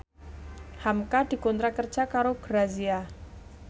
hamka dikontrak kerja karo Grazia